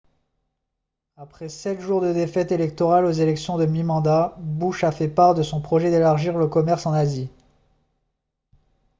après sept jours de défaites électorales aux élections de mi-mandat bush a fait part de son projet d'élargir le commerce en asie